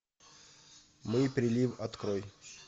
мы прилив открой